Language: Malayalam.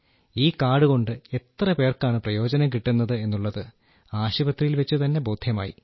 ഈ കാർഡ് കൊണ്ട് എത്ര പേർക്കാണ് പ്രയോജനം കിട്ടുന്നത് എന്നുള്ളത് ആശുപത്രിയിൽ വച്ചുതന്നെ ബോദ്ധ്യമായി